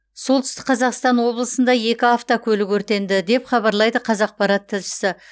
солтүстік қазақстан облысында екі автокөлік өртенді деп хабарлайды қазақпарат тілшісі